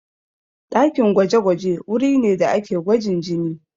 Ɗakin gwaje-gwaje wuri ne da ake gwajin jini.